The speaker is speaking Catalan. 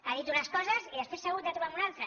ha dit unes coses i després s’ha hagut de trobar amb una altra